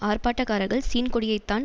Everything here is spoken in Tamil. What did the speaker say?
ஆர்ப்பாட்டக்காரர்கள் சீன் கொடியைத்தான்